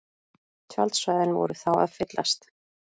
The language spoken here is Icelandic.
Tjaldsvæðin voru þá að fyllast